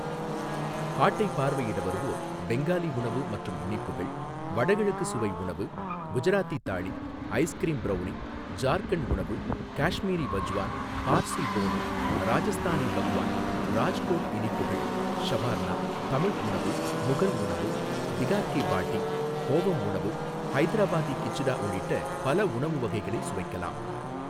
ஹாட்டைப் பார்வையிட வருவோர் பெங்காலி உணவு மற்றும் இனிப்புகள், வடகிழக்கு சுவை உணவு, குஜராத்தி தாளி, ஐஸ்கிரீம் ப்ரௌனி, ஜார்க்கண்ட் உணவு, காஷ்மீரி வஜ்வான், பார்சி போனு, ராஜஸ்தானி பக்வான், ராஜ்கோட் இனிப்புகள், ஷவார்னா, தமிழ் உணவு, முகல் உணவு, பிகார் கி பாட்டி, கோவம் உணவு, ஹைதராபாதி கிச்டா உள்ளிட்ட பல உணவு வகைகளை சுவைக்கலாம்.